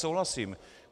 Souhlasím.